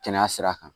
Kɛnɛya sira kan